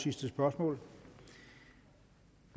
et spørgsmål